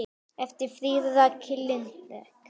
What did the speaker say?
eftir Fríðu Rakel Linnet